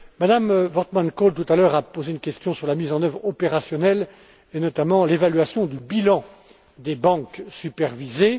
Mme Wortmann Kool, tout à l'heure, a posé une question sur la mise en oeuvre opérationnelle et notamment l'évaluation du bilan des banques supervisées.